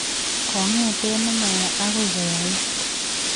Kongete nemaya akoi koyait